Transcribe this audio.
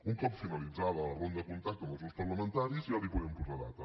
un cop finalitzada la ronda de contacte amb els grups parlamentaris ja li podem posar data